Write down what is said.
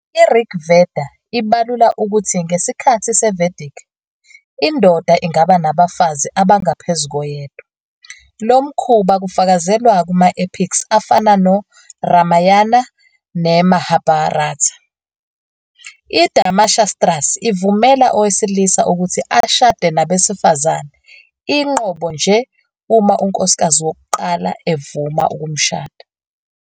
IRig Veda ibalula ukuthi ngesikhathi seVedic, indoda ingaba nabafazi abangaphezu koyedwa. Lo mkhuba kufakazelwa kuma-epics afana noRamayana neMahabharata. IDharmashastras ivumela owesilisa ukuthi ashade nabesifazane inqobo nje uma unkosikazi wokuqala evuma ukumshada.